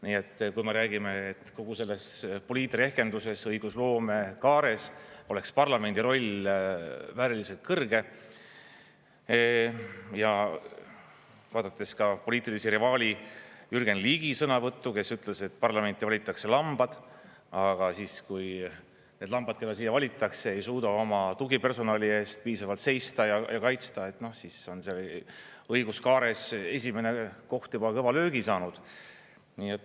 Nii et kui me räägime, et kogu selles poliitrehkenduses, õigusloomekaares oleks parlamendi roll vääriliselt kõrge ja vaadates ka poliitilise rivaali Jürgen Ligi sõnavõttu, kes ütles, et parlamenti valitakse lambad, aga siis, kui need lambad, keda siia valitakse, ei suuda oma tugipersonali eest piisavalt seista ja kaitsta, siis on seal õiguskaares esimene koht juba kõva löögi saanud.